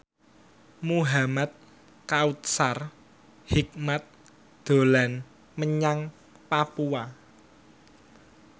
Muhamad Kautsar Hikmat dolan menyang Papua